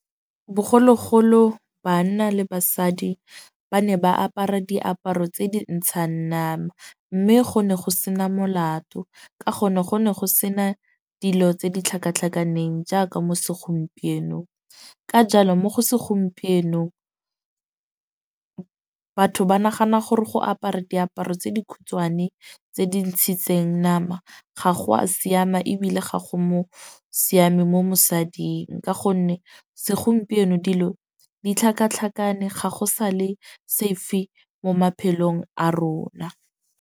Bogologolo banna le basadi ba ne ba apara diaparo tse di ntshang nama. Mme go ne go sena molato. Ka gonne go ne go sena dilo tse di tlhakatlhakaneng jaaka mo segompienong. Ka jalo mo go segompienong batho ba nagana gore go apara diaparo tse di khutshwane tse di ntshitseng nama, ga go a siama ebile ga go mo siame mo mosading. Ka gonne segompieno dilo di tlhakatlhakane ga go sa le safe mo maphelong a rona.